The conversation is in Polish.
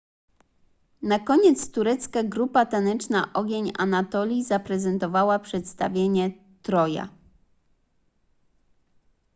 na koniec turecka grupa taneczna ogień anatolii zaprezentowała przedstawienie troja